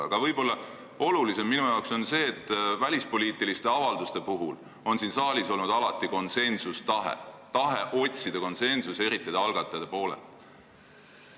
Aga võib-olla olulisem on minu jaoks see, et välispoliitiliste avalduste puhul on siin saalis alati konsensustahe olnud, tahe otsida konsensust, eriti algatajate poolel.